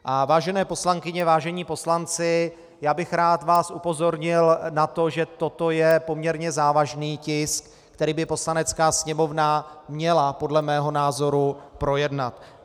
Vážené poslankyně, vážení poslanci, já bych rád vás upozornil na to, že toto je poměrně závažný tisk, který by Poslanecká sněmovna měla podle mého názoru projednat.